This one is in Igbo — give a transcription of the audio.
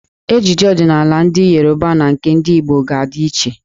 Ejiji ọdịnaala ndị Yoruba na nke ndị Igbo ga-adị iche.